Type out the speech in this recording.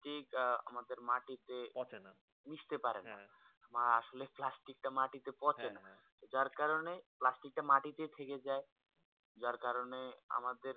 আমাদের মাটি তে পচে না মিস্টি পারে না বা আসলে প্লাষ্টিক তা মাটি তে পচে না যার কারণে প্লাষ্টিক তা মাটি তে থেকে যায় যার কারণে